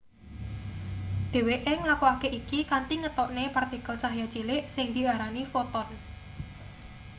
dheweke nglakokake iki kanthi ngetokne partikel cahya cilik kang diarani foton